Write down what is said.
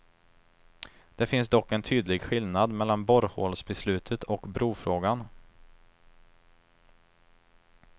Det finns dock en tydlig skillnad mellan borrhålsbeslutet och brofrågan.